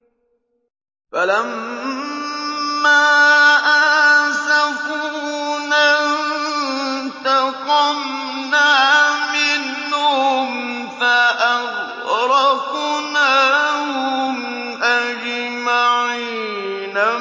فَلَمَّا آسَفُونَا انتَقَمْنَا مِنْهُمْ فَأَغْرَقْنَاهُمْ أَجْمَعِينَ